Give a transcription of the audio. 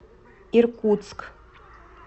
иркутск